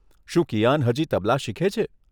શું કિયાન હજી તબલા શીખે છે?